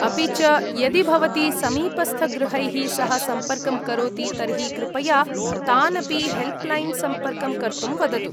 अपि च, यदि भवती समीपस्थगृहैः सह सम्पर्कं करोति तर्हि कृपया तानपि हेल्प्लैन् सम्पर्कं कर्तुम् वदतु।